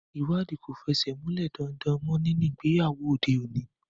Ìwádìí kò fẹsẹ̀ múlẹ̀ daindain mọ́ nínú ìgbéyàwó òde òní.